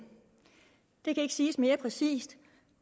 det kan ikke siges mere præcist